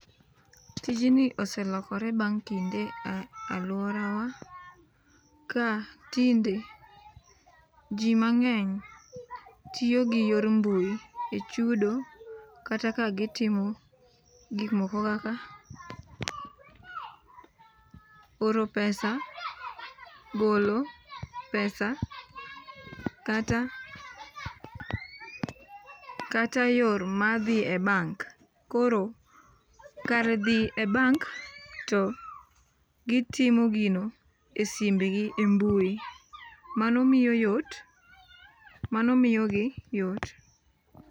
Tijni oselokore bang' kinde e alwora wa. Ka tinde ji mang'eny tiyo gi yor mbui e chudo kata ka gitimo gik moko kaka oro pesa, golo pesa kata kata yor madhi e bank. Koro kar dhi e bank to gitimo gino e simbgi e mbui. Mano miyo yot, mano miyo gi yot.